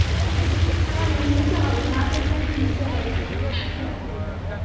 কিন্তু কিছু করার নেই. নিতে হবে. নাচের জন্য নিতে হবে না. কিনলে হবে না